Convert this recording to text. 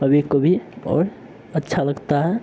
कभी-कभी बहुत अच्छा लगता है।